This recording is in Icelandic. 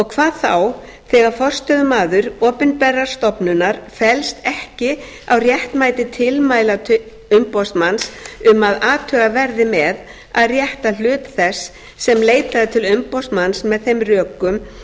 hvað þá þegar forstöðumaður opinberrar stofnunar fellst ekki á réttmæti tilmæla umboðsmanns um að athugað verði með að rétta hlut þess sem leitaði til umboðsmanns með þeim rökum